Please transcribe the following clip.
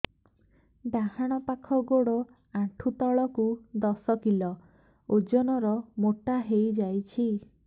ଡାହାଣ ପାଖ ଗୋଡ଼ ଆଣ୍ଠୁ ତଳକୁ ଦଶ କିଲ ଓଜନ ର ମୋଟା ହେଇଯାଇଛି